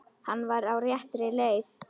Hann var á réttri leið.